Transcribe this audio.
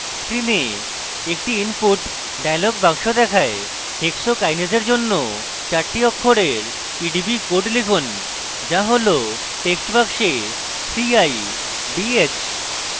screen একটি input dialog box দেখায় hexokinase এর জন্য চার অক্ষরের pdb code লিখুন যা হল text box 3idh